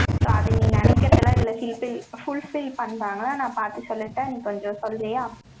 so அது நீ நினைக்கிறதுல, இதுல fulfill பண்றாங்க. நான் பார்த்து சொல்லிட்டேன். நீ கொஞ்சம் சொல்றியா?